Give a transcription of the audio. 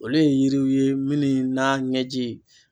Olu ye yiriw ye minnu na ɲɛji.